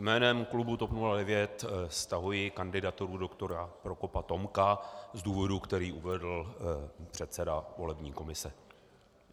Jménem klubu TOP 09 stahuji kandidaturu doktora Prokopa Tomka z důvodu, který uvedl předseda volební komise.